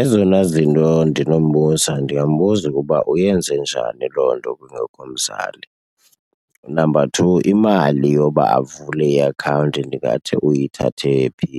Ezona zinto ndinombuza ndingambuza ukuba uyenze njani loo nto kungekho mzali. Number two, imali yoba avule iakhawunti ndingathi uyithathe phi.